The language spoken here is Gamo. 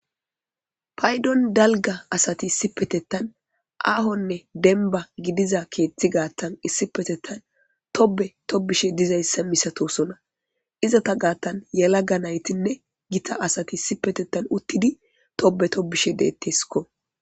paydon dalga asati sipetettan aahonne denba gidiza keeththi gaattan issipetettan tobe tobishe dizayssa misatosona iza ta gaattan yalaga naytinne gita asati sipetettan uttidi tobe tobishe deetteskko